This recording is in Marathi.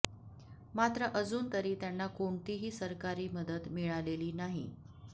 मात्र अजून तरी त्यांना कोणतीही सरकारी मदत मिळालेली नाही